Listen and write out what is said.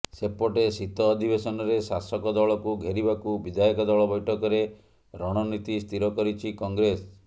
ସେପଟେ ଶୀତ ଅଧିବେଶନରେ ଶାସକ ଦଳକୁ ଘେରିବାକୁ ବିଧାୟକ ଦଳ ବୈଠକରେ ରଣନୀତି ସ୍ଥିର କରିଛି କଂଗ୍ରେସ